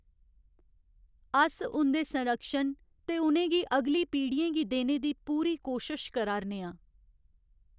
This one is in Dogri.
अस उं'दे संरक्षण ते उ'नें गी अगली पीढ़ियें गी देने दी पूरी कोशश करा 'रने आं।